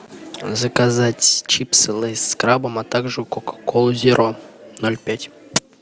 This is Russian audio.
заказать чипсы лейс с крабом а также кока колу зеро ноль пять